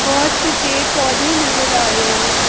बहोत से पे पौधे नजर आ रहे हैं।